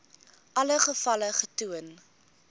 alle gevalle getoon